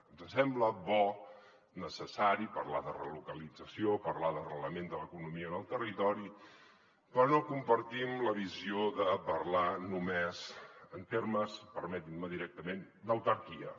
ens sembla bo necessari parlar de relocalització parlar d’arrelament de l’economia en el territori però no compartim la visió de parlar només en termes permetin m’ho directament d’autarquia